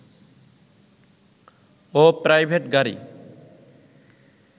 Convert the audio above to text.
ও private গাড়ী